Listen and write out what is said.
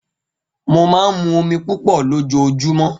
Mo máa ń mu omi púpọ̀ lójoojúmọ́